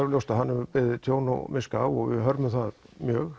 ljóst að hann hefur beðið tjón og miska og við hörmum það mjög